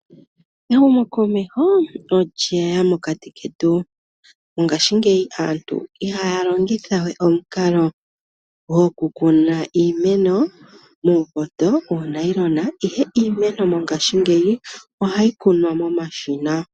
Ehumokomeho olye ya mokati ketu. Mongashingeyi aantu ohaya longithawe omukalo gokukuna iimeno muupoto, muunayilona , ihe iimeno mongashingeyi ohayi kunwa momashina.